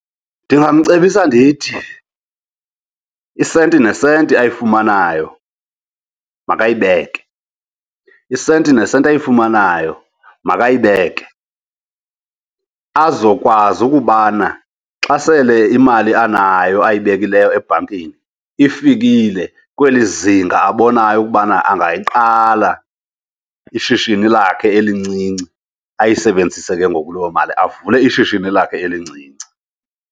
Ndingamcebisa ndithi isenti nesenti ayifumanayo makayibeke. Isenti nesenti ayifumanayo makayibeke azokwazi ukubana xa sele imali anayo ayibekileyo ebhankini ifikile kweli zinga abonayo ukubana angayiqala ishishini lakhe elincinci. Ayisebenzise ke ngoku loo mali avule ishishini lakhe elincinci.